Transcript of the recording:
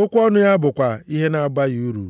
okwu ọnụ ya bụkwa ihe na-abaghị uru.”